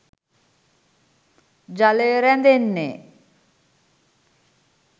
ජලය රැඳෙන්නේ